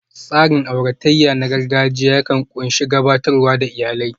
Tsarin auratayya na gargajiya yakan ƙunshi gabatar da iyalai